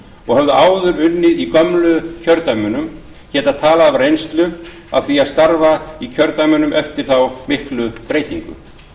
og höfðu áður unnið í gömlu kjördæmunum geta talað af reynslu af því að starfa í kjördæmunum eftir þá miklu breytingu